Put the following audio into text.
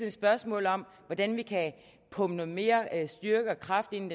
et spørgsmål om hvordan vi kan pumpe noget mere styrke og kraft ind